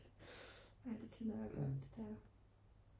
nej det kender jeg godt ja